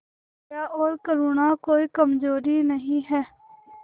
दया और करुणा कोई कमजोरी नहीं है